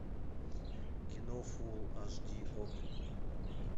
кино фул аш ди окко